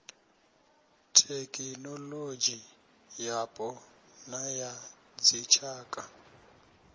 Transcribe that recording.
thekhinoḽodzhi yapo na ya dzitshaka